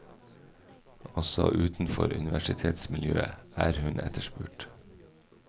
Også utenfor universitetsmiljøet er hun etterspurt.